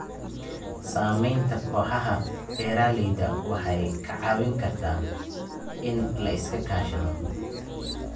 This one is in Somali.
Samaynta kooxaha beeralayda waxay kaa caawin kartaa in la iska kaashado.